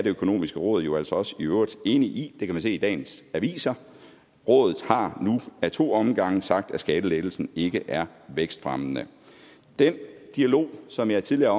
økonomiske råd jo altså også i øvrigt enige i det kan man se i dagens aviser rådet har nu ad to omgange sagt at skattelettelsen ikke er vækstfremmende den dialog som jeg tidligere